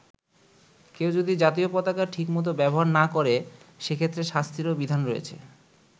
কেউ যদি জাতীয় পতাকা ঠিকমতো ব্যবহার না করে, সেক্ষেত্রে শাস্তিরও বিধান রয়েছে।